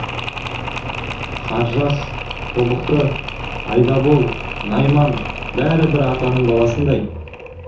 қаржас тобықты айдабол найман бәрі бір атаның баласындай